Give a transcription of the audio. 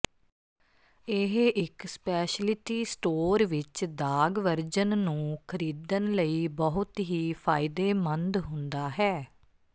ਇਹ ਇੱਕ speciality store ਵਿੱਚ ਦਾਗ ਵਰਜਨ ਨੂੰ ਖਰੀਦਣ ਲਈ ਬਹੁਤ ਹੀ ਫਾਇਦੇਮੰਦ ਹੁੰਦਾ ਹੈ